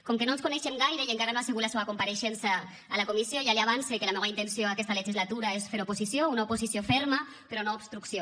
com que no ens coneixem gaire i encara no ha sigut la seua compareixença a la comissió ja li avance que la meua intenció aquesta legislatura és fer oposició una oposició ferma però no obstrucció